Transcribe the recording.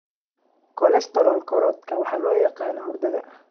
Kolesterool-korodhkan waxa loo yaqaan huurada.